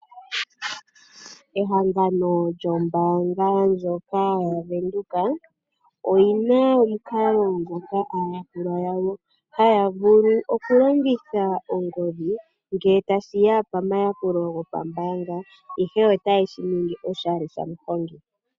Ehangano lyombaanga ya Venduka oyi na omukalo ngoka aayakulwa yawo haya vulu okulongitha ongodhi ngele tashi ya pamayakulo gombaanga, ihe otaye shi ningi oshali sha muhongi.